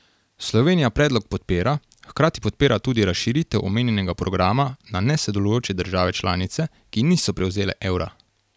Slovenija predlog podpira, hkrati podpira tudi razširitev omenjenega programa na nesodelujoče države članice, ki niso prevzele evra.